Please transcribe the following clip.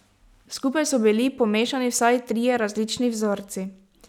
Skupaj so bili pomešani vsaj trije različni vzorci.